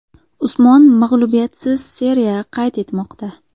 Usmon mag‘lubiyatsiz seriya qayd etmoqda.